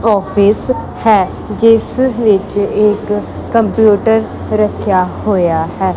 Office ਹੈ ਜਿਸ ਵਿੱਚ ਇਕ ਕੰਪਿਊਟਰ ਰੱਖਿਆ ਹੋਇਆ ਹੈ।